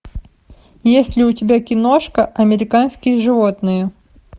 есть ли у тебя киношка американские животные